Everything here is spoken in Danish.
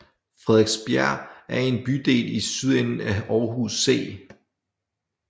Frederiksbjerg er en bydel i sydenden af Aarhus C